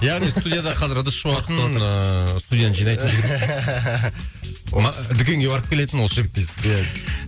яғни студияда қазір ыдыс жуатын ыыы студент жинайтын дүкенге барып келетін осы жігіт дейсің ғой иә